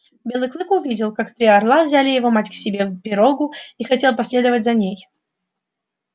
белый клык увидел как три орла взяли его мать к себе в пирогу и хотел последовать за ней